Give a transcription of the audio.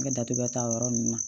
N bɛ datugu ta o yɔrɔ ninnu na